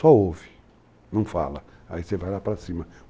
Só ouve, não fala, aí você vai lá para cima.